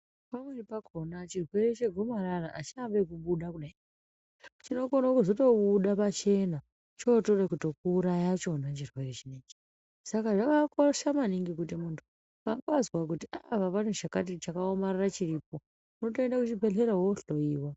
Pamweni pakhona chirwere chegomarara achirambi nekubuda pachena chinokona kuzotobuda pachena chotoda kutokuuraya chirwere ichi saka zvakakosha maningi kuti muntu paazwa kuti apa pane chakaoma chiripo wotoenda kuchibhedhlera wohloyiwa .